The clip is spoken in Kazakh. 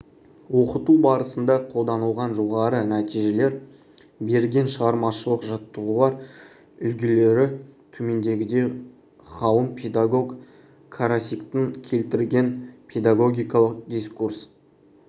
оқыту барысында қолданылған жоғары нәтижелер берген шығармашылық жаттығулар үлгілері төмендегідей ғалым педагог карасиктің келтірген педагогикалық дискурс